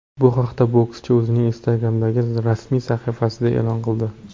Bu haqda bokschi o‘zining Instagram’dagi rasmiy sahifasida e’lon qildi .